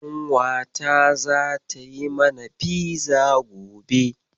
Ƙanwata zata yi mana fiza gobe.